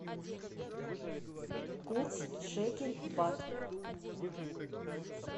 курс шекель бат